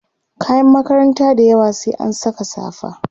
kayan makaranta dayawa sai an Saka safa